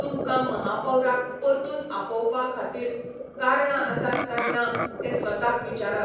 तुमकां महापौराक परतून आपोवपा खातीर कारणां आसात काय ना तें स्वताक विचारात.